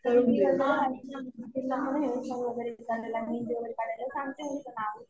दीदीने विचारलं आणखी काय येतं तर म्हणेल कि हेअरस्टाईल वगैरे येते तिला मेहेंदी येते काढायला सांगते मी पुन्हा.